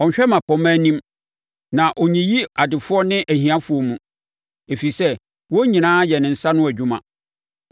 Ɔnhwɛ mmapɔmma anim na ɔnyiyi adefoɔ ne ahiafoɔ mu, ɛfiri sɛ wɔn nyinaa yɛ ne nsa ano adwuma.